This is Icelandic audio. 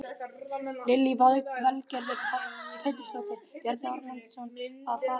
Lillý Valgerður Pétursdóttir: Bjarni Ármannsson að fara með rangt mál?